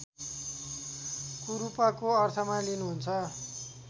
कुरूपको अर्थमा लिनुहुन्छ